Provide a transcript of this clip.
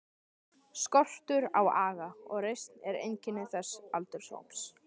Skortur á aga og reisn er einkenni þessa aldurshóps.